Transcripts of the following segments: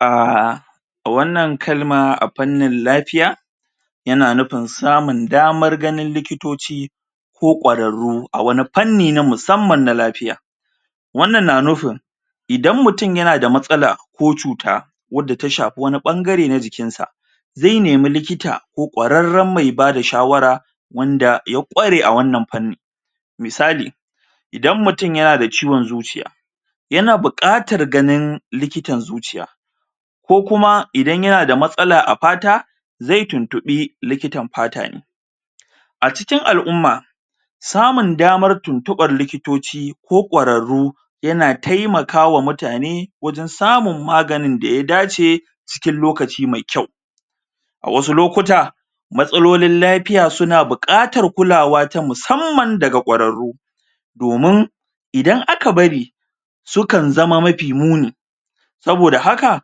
a wannan kalma a pannin lafiya ya na nufin samun daman ganin likitoci ko kwararu a wani panni na musaman lafiya wannan na nufin idan mutum yana da matsala ko cuta waddata shafi wani bangare na jikin ta zai nemi likita ko kwararan mai ba da shawara wanda ya kware a wannan panni misali idan mutum ya na da ciwon zuciya yana bukatar gganin likitan zuciya ko kuma idan ya na da matsala a fata zai tuntubi likitan fata ne a cikin al'uma samun damar tuntuba likitoci ko kwararu ya na taimakawa mutane wajen samu magani da ya dace cikin lokaci mai kyau a wasu lokuta masololin lafiya su na bukatar kulawa ta musamman da ga kwararu domin idan aka bari su kan zama mafi muni soboda haka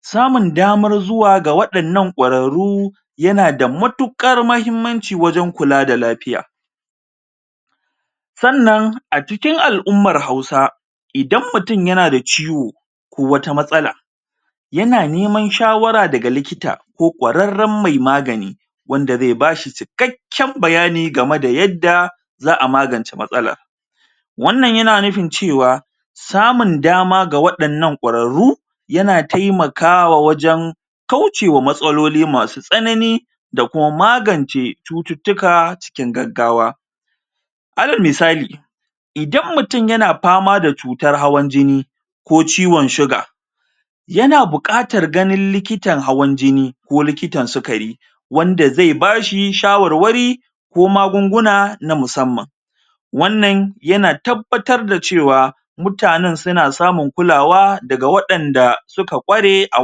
samun damar zuwa ga wadannan kwararu yanada matukar mahimmanci wajen kula da lafiya sannan a cikin al'umar hausa idan mutum yana da ciwo ko wata masala yana neman shawara daga likita ko kwararan mai magani wande zai ba shi cikakken bayani game da yadda za'a magance maganan wannan yana nufin cewa samun dama ga wadannan kwararu ya na taimakawa wajen kaucewa matsaloli masu tsanani da kuma magance cututuka cikin gaggawa ana misali idan mutum ya na fama da cutar hawan jini ko ciwon shuga ya na bukatan ganin likitan hawan jini ko likitan sugari wande zai ba shi shawarwari ko magunguna na musamman wannan ya na tabbatar da cewa mutane suna samun kulawa daga wadanda suka kware a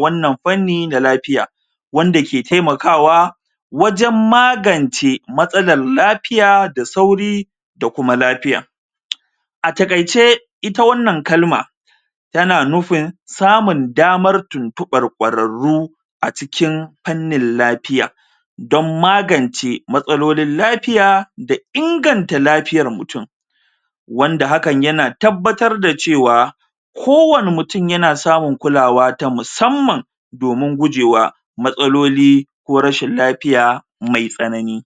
wannan fanni na lafiya wande ke taimakawa wajen magance matsalar lafiya da sauri da kuma lafiya a takaice ita wannan kalma tana nufin samun damar tuntuba kwararu a cikin fannin lafiya dan magance matsololin lafiya da inganta lafiyar mutum wanda hakan yana tabbatar da cewa ko wane mutum yana samun kulawa ta musamman domin gujewa matsaloli ko rashin lafiya maitsanani